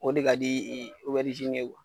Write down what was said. O de ka di ye.